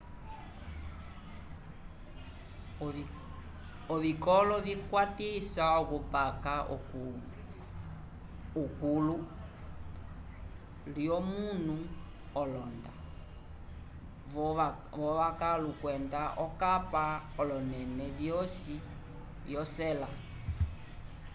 ovikolo vikwatisa okupaka okulu lyomunu olonda v'okavalu kwenda okapa k'olonẽle vyosi vyo sela